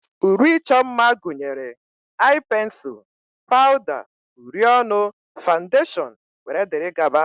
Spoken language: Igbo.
Uri ịchọ mma gụnyere ai pensul, pawda, uri ọnụ, fandashon wdg.